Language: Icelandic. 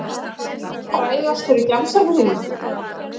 Frægastur í gemsanum þínum?